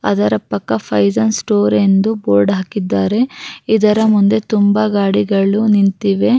ಅದರ ಪಕ್ಕ ಫೈಝನ್ ಸ್ಟೋರ್ ಎಂದು ಬೋರ್ಡ್ ಹಾಕಿದ್ದಾರೆ ಇದರಮುಂದೆ ತುಂಬಾ ಗಾಡಿಗಳು ನಿಂತಿವೆ.